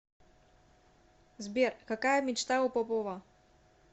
сбер какая мечта у попова